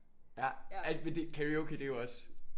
Ja karaoke det jo også